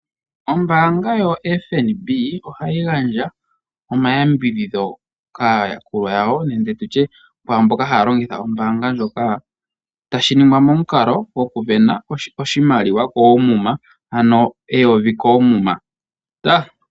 Ombaanga yoFNB ohayi gandja omayambidhidho kaayakulwa yawo nenge tutye kwaamboka haya longitha ombaanga ndjoka. Tashi ningwa momukalo gokusindana oshimaliwa koomuma ano oodola eyovi koomuma.